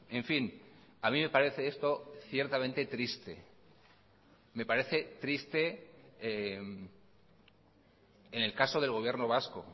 en fin a mí me parece esto ciertamente triste me parece triste en el caso del gobierno vasco